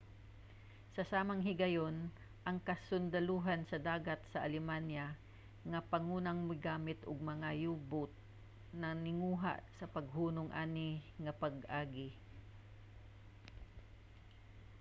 sa samang higayon ang kasundalohan sa dagat sa alemanya nga pangunang migamit og mga u-boat nagtinguha sa paghunong ani nga pag-agi